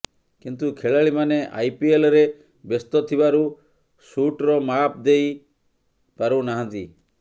କିନ୍ତୁ ଖେଳାଳିମାନେ ଆଇପିଏଲ୍ରେ ବ୍ୟସ୍ତ ଥିବାରୁ ସୁଟ୍ର ମାପ୍ ଦେଇ ପାରୁ ନାହାନ୍ତି